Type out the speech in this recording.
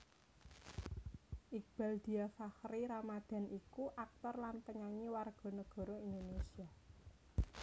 Iqbaal Dhiafakhri Ramadhan iku aktor lan penyanyi warga negara Indonésia